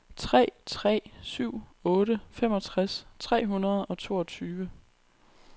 tre tre syv otte femogtres tre hundrede og toogtyve